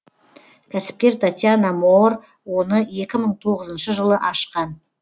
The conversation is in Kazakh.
кәсіпкер татьяна моор оны екі мың тоғызыншы жылы ашқан